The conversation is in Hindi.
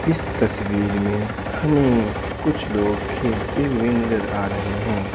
इस तस्वीर में हमें कुछ लोग खेलते हुए नजर आ रहे हैं।